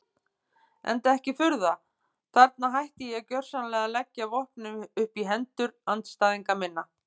Enda ekki furða, þarna hætti ég gjörsamlega að leggja vopnin upp í hendur andstæðinga minna.